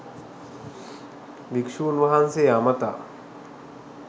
භික්‍ෂූන් වහන්සේ අමතා